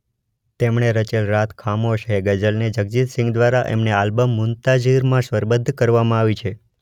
તેમણે રચેલ રાત ખામોશ હે ગઝલને જગજીત સિંઘ દ્વારા એમને આલ્બમ મુન્તાઝીરમાં સ્વરબદ્ધ કરવામાં આવી છે.